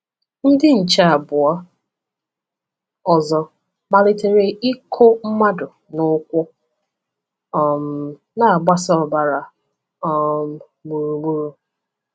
Ndị nche abụọ ọzọ malitere ịkụ madu n’ụkwụ, um na-agbasa ọbara um gburugburu.